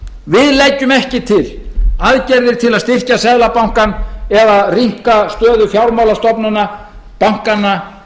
við leggjum ekki til aðgerðir til að styrkja seðlabankann eða rýmka stöðu fjármálastofnana bankanna